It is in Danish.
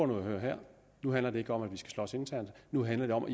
nu her nu handler det ikke om at vi skal slås internt nu handler det om